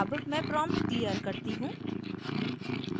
अब मैं prompt clear करती हूँ